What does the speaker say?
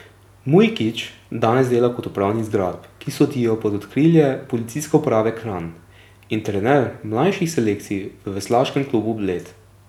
Mujkić danes dela kot upravnik zgradb, ki sodijo pod okrilje Policijske uprave Kranj in trener mlajših selekcij v Veslaškem klubu Bled.